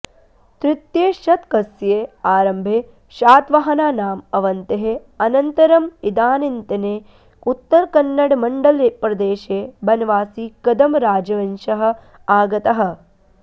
तृतीयशतकस्य आरम्भे शातवाहनानाम् अवनतेः अनन्तरम् इदानीन्तने उत्तरकन्नडमण्डलप्रदेशे बनवासीकदम्बराजवंशः आगतः